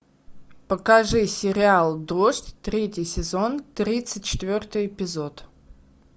покажи сериал дождь третий сезон тридцать четвертый эпизод